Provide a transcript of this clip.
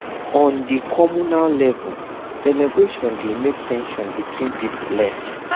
on di communal level celebration dey make ten sion between pipo less